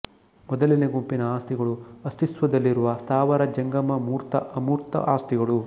ಮೊದಲನೆಯ ಗುಂಪಿನ ಆಸ್ತಿಗಳು ಅಸ್ತಿತ್ವದಲ್ಲಿರುವ ಸ್ಥಾವರ ಜಂಗಮ ಮೂರ್ತ ಅಮೂರ್ತ ಆಸ್ತಿಗಳು